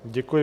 Děkuji.